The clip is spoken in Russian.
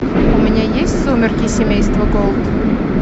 у меня есть сумерки семейства голд